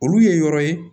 Olu ye yɔrɔ ye